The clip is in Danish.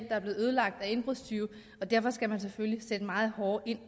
er blevet ødelagt af indbrudstyve og derfor skal man selvfølgelig sætte meget hårdere ind